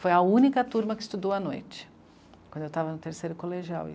Foi a única turma que estudou à noite, quando eu estava no terceiro colegial.